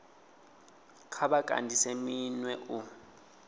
kha vha kandise minwe u